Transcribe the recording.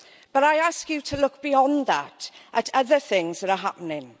But I ask you to look beyond that at other things that are happening.